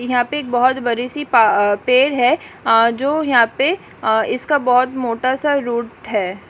यहा पे एक बहोत बरी सी प-प पेर है आ जो यहा पे अ इसका बहोत मोटा सा रुट है।